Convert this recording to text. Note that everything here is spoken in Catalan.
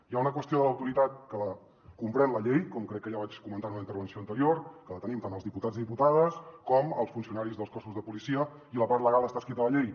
hi ha una qüestió de l’autoritat que comprèn la llei com crec que ja vaig comentar en una intervenció anterior que la tenim tant els diputats i diputades com els funcionaris dels cossos de policia i la part legal està escrita a la llei